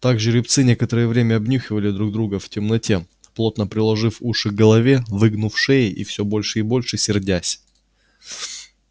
так жеребцы некоторое время обнюхивали друг друга в темноте плотно приложив уши к голове выгнув шеи и все больше и больше сердясь